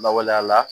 Lawaleya la